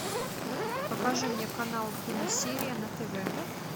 покажи мне канал киносерия на тв